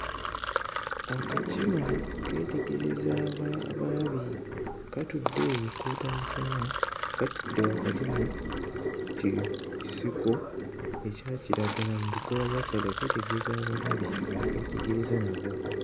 Akakima keetegereza aba abalabi katudde eyo koota musana katudde wakati mu ki kisiko ekya kiragala mu bikoola bya kiragala keetegereza abalabi abakeetegereza nabo.